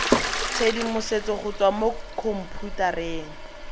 tshedimosetso go tswa mo khomphutareng